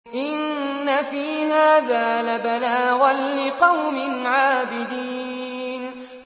إِنَّ فِي هَٰذَا لَبَلَاغًا لِّقَوْمٍ عَابِدِينَ